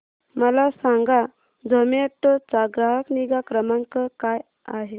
मला सांगा झोमॅटो चा ग्राहक निगा क्रमांक काय आहे